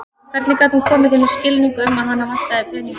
Hvernig gat hún komið þeim í skilning um að hana vantaði peninga?